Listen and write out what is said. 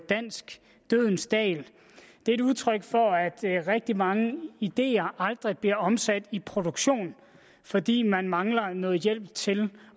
dansk dødens dal det er et udtryk for at rigtig mange ideer aldrig bliver omsat i produktion fordi man mangler noget hjælp til